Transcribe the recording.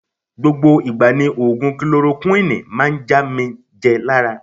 Gbogbo igba ni ogun Kolorokuwini maa n ja mi je lara.